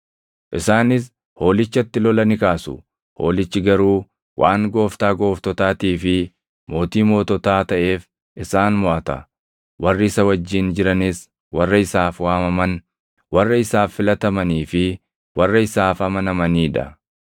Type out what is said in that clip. Isaanis Hoolichatti lola ni kaasu; Hoolichi garuu waan Gooftaa gooftotaatii fi Mootii moototaa taʼeef isaan moʼata; warri isa wajjin jiranis warra isaaf waamaman, warra isaaf filatamanii fi warra isaaf amanamanii dha.”